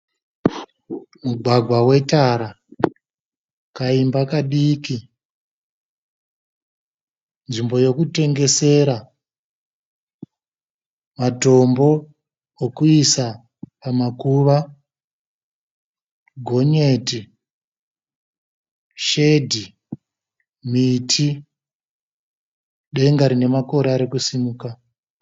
Mugwagwa wetara, kaimba kadiki, nzvimbo yokutengesera, matombo okuisa pamakuva, gonyeti, shedhi, miti, denga rine makore ari kusimuka.